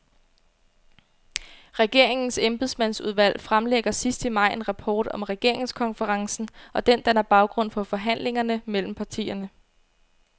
Regeringens embedsmandsudvalg fremlægger sidst i maj en rapport om regeringskonferencen, og den danner baggrund for forhandlingerne mellem partierne.